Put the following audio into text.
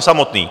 samotný.